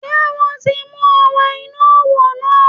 Sé wọ́n ti mú ọ wọ inú òwò náà?